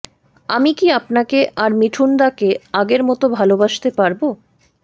আমি কি আপনাকে আর মিঠুনদাকে আগের মতো ভালবাসতে পারব